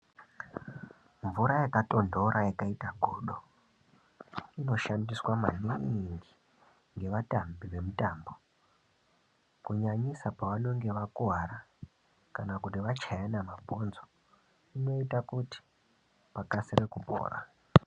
Mvura yakatondora yakaita godo inoshandiswa maningi nevatambi vemutambo kunyanisa pavanonge vakuvara kana kuti vachayana mabhonzo. Inoita kuti pakasire kupora.